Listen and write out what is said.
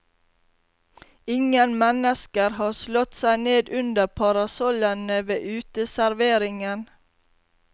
Ingen mennesker har slått seg ned under parasollene ved uteserveringen.